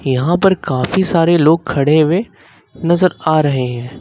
यहां पर काफी सारे लोग खड़े हुए नजर आ रहे हैं।